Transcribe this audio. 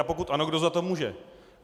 A pokud ano, kdo za to může?